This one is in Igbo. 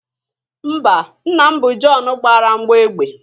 Mba, nna m bụ John gbara mgbọ egbe